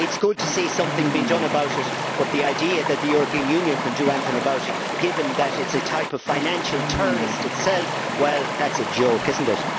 It is good to see something being done about it, but the idea that the European Union can do anything about it given that it is a type of financial terrorist itself, well, that is a joke, is it not?